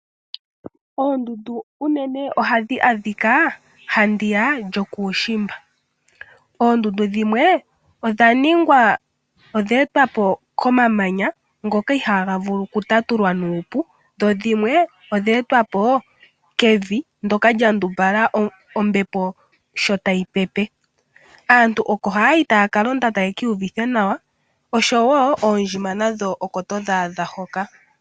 Oondundu unene ohadhi adhika haandi ya yokuushimba. Oondundu dhimwe odha etwa po komamanya ngoka ihaaga vulu okutatulwa nuupu, dho dhimwe odha etwa po kevi ndyoka lya ndumbala ombepo sho tayi pepe. Aantu oko haya yi taya ka londa taya ka iyuvitha nawa. Oondjima nadho oko todhi adha hoka.